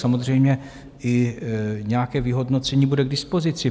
Samozřejmě i nějaké vyhodnocení bude k dispozici.